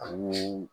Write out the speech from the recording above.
Ani